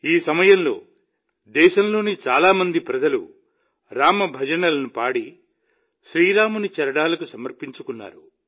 ఈ సమయంలో దేశంలోని చాలా మంది ప్రజలు రామభజనలను పాడి శ్రీరాముని చరణాలకు సమర్పించుకున్నారు